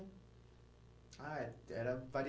Ah, é era